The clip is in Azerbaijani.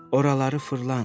Oraları fırlan.